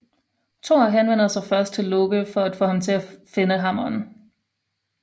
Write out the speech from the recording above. Thor henvender sig først til Loke for at få ham til at finde hammeren